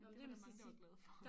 Det var der mange der var glade for